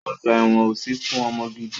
Ọgbà ẹ̀wọ́n ò sí fún ọmọ gidi.